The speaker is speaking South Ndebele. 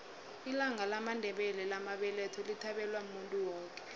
ilanga lamandela lamabeletho lithabelwa muntu woke